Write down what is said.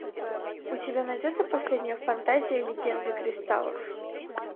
у тебя найдется последняя фантазия легенды кристаллов